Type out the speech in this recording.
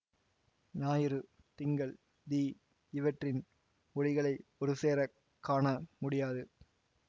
ஞாயிறு திங்கள் தீ இவற்றின் ஒளிகளை ஒருசேரக் காண முடியாது